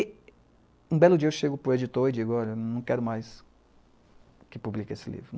E um belo dia eu chego para o editor e digo, ''olha, não quero mais que publique esse livro.''